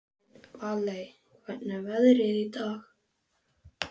Valey, hvernig er veðrið í dag?